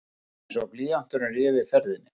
Rétt einsog blýanturinn ráði ferðinni.